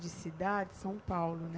De cidade, São Paulo, né?